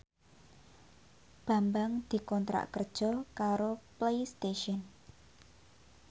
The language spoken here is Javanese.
Bambang dikontrak kerja karo Playstation